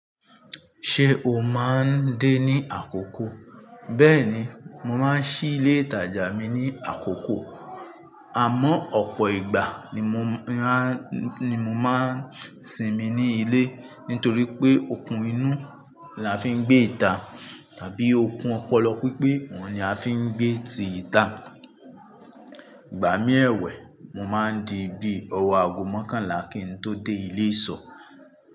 Ṣé o máa ń dé ní àkókò? Bẹ́ẹ̀ni, mo máa ń ṣí ilé ìtajà mi ní àkókò àmọ́ ọ̀pọ̀ ìgbà ni mo máa ń sinmi ní ilé nítorí pé okùn inú la fi ń gbé ìta tàbí okùn ọpọlọ pípé òun ni a fi ń gbé ti ìta. Ìgbà mí ẹwẹ̀ mo máa ń di bí ọwo aago mẹ́kànlá kí n tó dé ilé ìsọ̀.